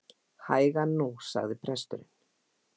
Hægan nú, sagði presturinn.